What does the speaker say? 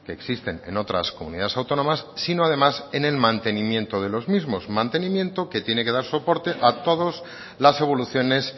existen en otras comunidades autónomas sino además en el mantenimiento de los mismos mantenimiento que tiene que dar soporte a todos las evoluciones